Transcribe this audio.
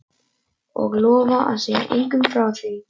Og lofa að segja engum frá því?